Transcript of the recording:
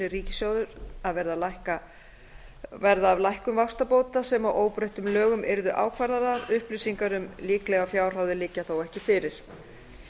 ríkissjóður að verða af lækkun vaxtabóta sem að óbreyttum lögum yrðu ákvarðaðar upplýsingar um líklegar fjárhæðir liggja þó ekki fyrir